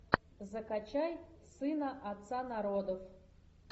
закачай сына отца народов